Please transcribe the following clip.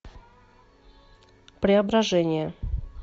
преображение